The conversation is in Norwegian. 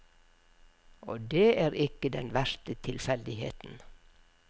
Og det er ikke den verste tilfeldigheten.